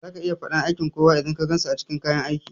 Zaka iya faɗan aiki kowa idan ka gansu a cikin kayan aiki